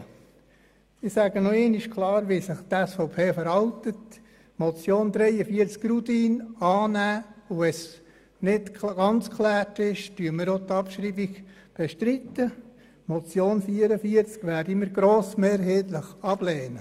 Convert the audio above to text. Die Motion Rudin nehmen wir also an und wenn keine vollständige Klärung vorliegt, bestreiten wir deren Abschreibung.